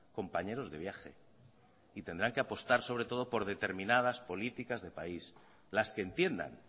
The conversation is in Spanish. compañeros de viaje y tendrán que apostar sobre todo por determinadas políticas de país las que entiendan